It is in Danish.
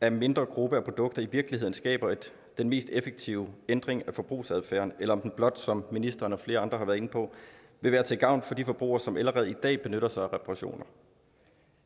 af en mindre gruppe af produkter i virkeligheden skaber den mest effektive ændring af forbrugsadfærden eller om den blot som ministeren og flere andre har været inde på vil være til gavn for de forbrugere som allerede i dag benytter sig af reparationer